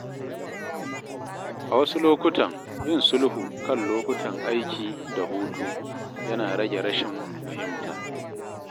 A wasu lokuta, yin sulhu kan lokutan aiki da hutu yana rage rashin fahimta.